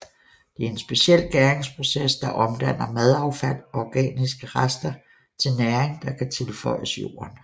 Det er en speciel gæringsproces der omdanner madaffald og organiske rester til næring der kan tilføres jorden